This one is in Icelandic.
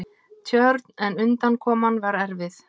Tjörn, en undankoma var erfið.